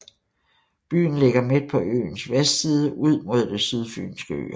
Byen ligger midt på øens vestside ud mod Det Sydfynske Øhav